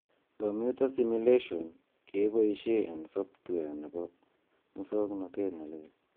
Komyuta simulation keboisheb en software nebo musoknotet ne leel.